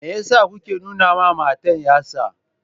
Me yasa kuke nuna mata yatsa?